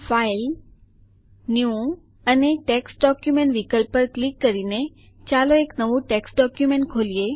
file new અને text document વિકલ્પ પર ક્લિક કરીને ચાલો એક નવું ટેક્સ્ટ ડોકયુમેન્ટ ખોલીએ